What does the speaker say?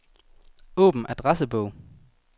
Åbn adressebog.